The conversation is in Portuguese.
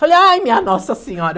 Falei, ai, minha nossa senhora.